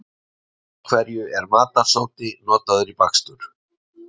Af hverju er matarsódi notaður í bakstur?